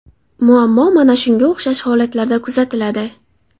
Muammo mana shunga o‘xshash holatlarda kuzatiladi.